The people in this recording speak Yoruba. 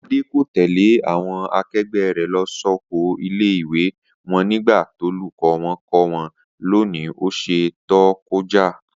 Adé kò tè̩lé àwo̩n ake̩gbé̩ rè̩ lo̩ sóko ilé-ìwé wo̩n nígbà tólùkó̩ wo̩n kó wó̩n lo̩ ní ò̩sè̩ tó ko̩já